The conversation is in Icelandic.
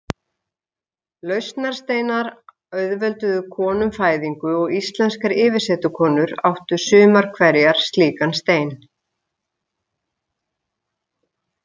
Lausnarsteinar auðvelduðu konum fæðingu og íslenskar yfirsetukonur áttu sumar hverjar slíkan stein.